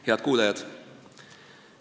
Head kuulajad!